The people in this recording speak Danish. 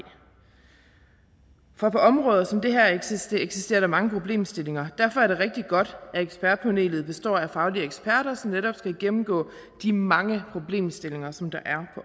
for på områder som det her eksisterer eksisterer der mange problemstillinger derfor er det rigtig godt at ekspertpanelet består af faglige eksperter som netop skal gennemgå de mange problemstillinger som der er